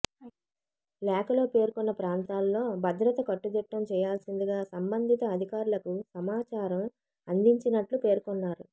లేఖలో పేర్కొన్న ప్రాంతాల్లో భద్రత కట్టుదిట్టం చేయాల్సిందిగా సంబంధిత అధికారులకు సమాచారం అందించినట్లు పేర్కొన్నారు